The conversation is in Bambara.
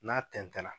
N'a tɛntɛn na